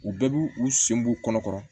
U bɛɛ b'u u sen b'u kɔnɔ kɔrɔ